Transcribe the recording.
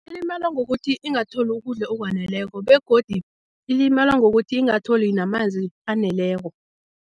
Ilimala ngokuthi ingatholi ukudla okwaneleko begodi ilimala ngokuthi ingatholi namanzi aneleko.